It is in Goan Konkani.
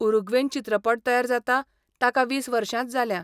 उरुग्वेन चित्रपट तयार जाता, ताका वीस वर्षांच जाल्या.